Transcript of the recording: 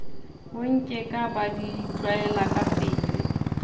bonkeka ba di tlwaela kapele